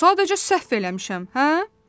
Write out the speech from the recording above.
Sadəcə səhv eləmişəm, hə?